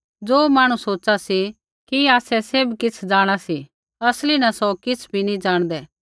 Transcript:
ज़ो मांहणु सोचा सी कि आसै सैभ किछ़ जाँणा सी असली न सौ किछ़ नी ज़ाणदै